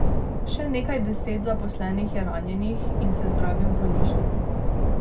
Še nekaj deset zaposlenih je ranjenih in se zdravi v bolnišnici.